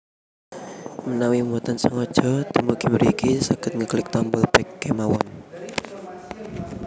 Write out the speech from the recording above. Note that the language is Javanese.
Mnawi boten sengaja dumugi mriki saged ngeklik tombol back kémawon